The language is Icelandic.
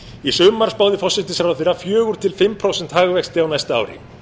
í sumar spáði forsætisráðherra fjórar til fimm prósenta hagvexti á næsta ári